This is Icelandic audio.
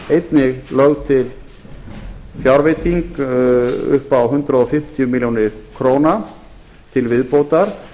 einnig lögð til fjárveiting upp á hundrað fimmtíu milljónir króna til viðbótar